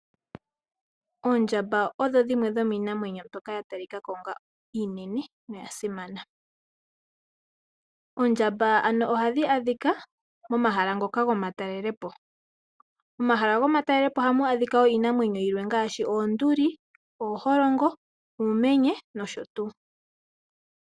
Oondjamba odho dhimwe dho miinamwenyo mbyoka yatalikako ano iinene noya simana. Oondjamba ohadhi adhika momahala ngoka gomatalele po. Omahala gomatalele po ohamu adhika woo iinamwenyo yilwe ngaashi oonduli, ooholongo, uumenye nosho tuu.